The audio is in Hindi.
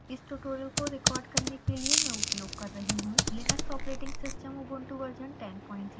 इस tutorial को record करने के लिए मैं उपयोग कर रही हूँ: linux operating system ubuntu version 1004